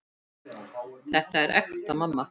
Þetta er ekta mamma!